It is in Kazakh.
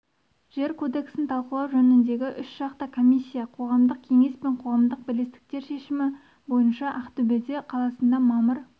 жер кодексін талқылау жөніндегі үшжақты комиссия қоғамдық кеңес пен қоғамдық бірлестіктер шешімі бойынша ақтөбеде қаласында мамыр